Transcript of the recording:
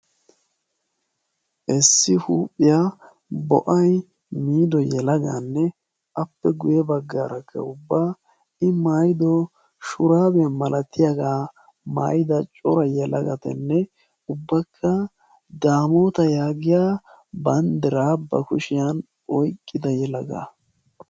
issi huuphiya bo'ay miido yelagaanne appe guyye baggaarakka ubba i mayyido shuraabiya malatiyagaa mayida cora yelagatanne ubbakka daamoota yaagiya banddiraa ba kushiyan oyiqqida yelagaa.